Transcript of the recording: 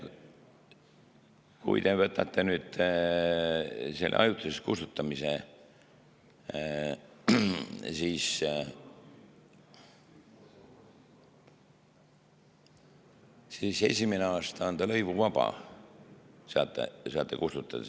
Kui te seda ajutist kustutamist, siis esimene aasta on see lõivuvaba, saate kustutada.